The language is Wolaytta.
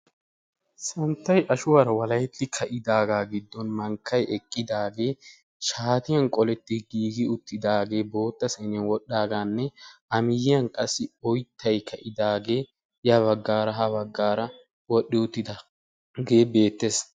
santtay ashuwaara walaketti uttidaagga gidon mankkay eqqidaagee shatiyan qolleti giigi uttidaagee bootta sayniyan wodhi uttidaagee a miyoyan qassi oyttay ka'idaage ya bagaara ha bagaara wodhi uttidaagee beetees.